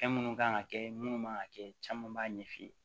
Fɛn minnu kan ka kɛ minnu man ka kɛ caman b'a ɲɛf'i ye